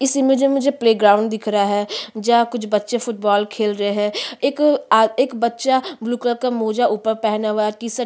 इस इमेज में मुझे प्लेग्राउंड दिख रहा है जहाँ कुछ बच्चे फुटबॉल खेल रहे है एक आद एक बच्चा ब्लू कलर का मौजा ऊपर पहना हुआ हैं टी शर्ट --